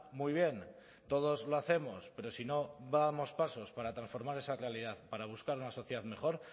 muy bien todos lo hacemos pero si no damos pasos para transformar esa realidad para buscar una sociedad mejor